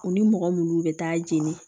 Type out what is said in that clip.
U ni mɔgɔ minnu bɛ taa jeni